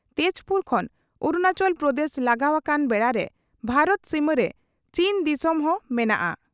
ᱛᱮᱡᱽᱯᱩᱨ ᱠᱷᱚᱱ ᱟᱨᱩᱱᱟᱪᱚᱞ ᱯᱨᱚᱫᱮᱥ ᱞᱟᱜᱟᱣ ᱟᱠᱟᱱ ᱵᱮᱲᱟᱨᱮ ᱵᱷᱟᱨᱚᱛ ᱥᱤᱢᱟᱹᱨᱮ ᱪᱤᱱ ᱫᱤᱥᱚᱢ ᱦᱚᱸ ᱢᱮᱱᱟᱜᱼᱟ ᱾